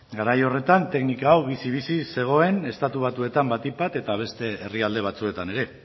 garai horretan teknika hau bizi bizi zegoen estatu batuetan batik bat eta beste herrialde batzuetan ere